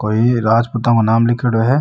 कोई राजपुतो का नाम लीखेड़ो है।